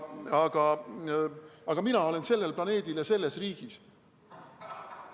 Aga mina olen sellel planeedil ja selles riigis.